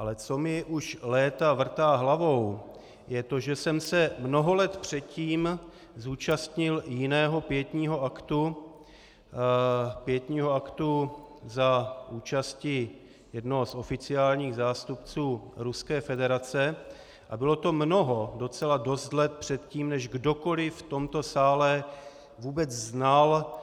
Ale co mi už léta vrtá hlavou, je to, že jsem se mnoho let předtím zúčastnil jiného pietního aktu, pietního aktu za účasti jednoho z oficiálních zástupců Ruské federace, a bylo to mnoho, docela dost let předtím, než kdokoliv v tomto sále vůbec znal